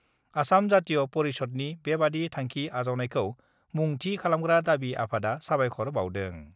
आसाम जातीय परिषदनि बेबादि थांखि आजावनायखौ मुं थि खालामग्रा दाबि आफादआ साबायख'र बाउदों।